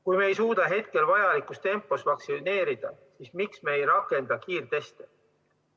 Kui me ei suuda hetkel vajalikus tempos vaktsineerida, siis miks me ei rakenda kiirteste?